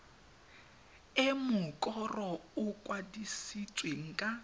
e mokoro o kwadisitsweng ka